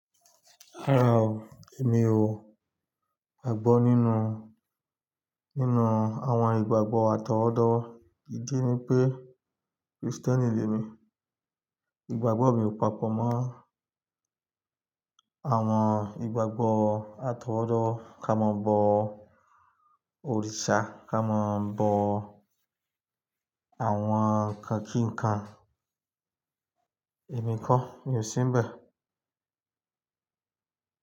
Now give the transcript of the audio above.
Rárá o, èmi ò gbọ́ nínú, nínú àwọn ìgbàgbọ́ àtọwọ́dọ́. Idi ni pé Kristẹni ni èmi. Ìgbàgbọ́ mi ò papọ̀ mọ́ àwọn ìgbàgbọ́ àtọwọ́dọ́ ká máa bọ òrìṣà, ká máa bọ àwọn nǹkan kí nǹkan. Èmi ko, mi ò sínbẹ̀